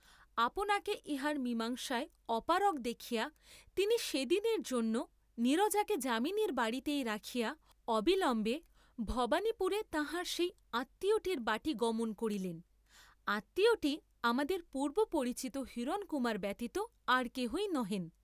আপনাকে ইহার মীমাংসায় অপারগ দেখিয়া তিনি সে দিনের জন্য নীরজাকে যামিনীর বাড়ীতেই রাখিয়া অবিলম্বে ভবানীপুরে তাঁহার সেই আত্মীয়টির বাটী গমন করিলেন; আত্মীয়টি আমাদের পূর্ব্বপরিচিত হিরণকুমার ব্যতীত আর কেহই নহেন।